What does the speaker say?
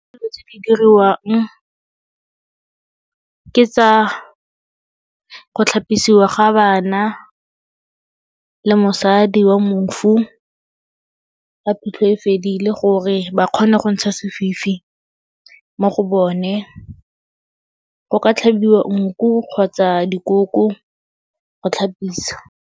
Dilo tse di diriwang ke tsa go tlhapisiwa ga bana le mosadi wa mofu ga phitlho e fedile gore ba kgone go ntsha sefifi mo go bone. Go ka tlhabiwa nku kgotsa dikoko go tlhapisa.